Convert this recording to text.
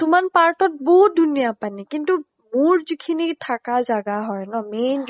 কিছুমান part ত বহুত ধুনীয়া পানী কিন্তু মোৰ যিখিনি থাকা জাগা হয় ন main